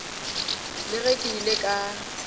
le ge ke ile ka